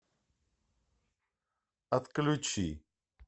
отключи